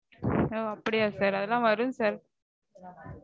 அப்படியா sir? அதெல்லாம் வரும் sir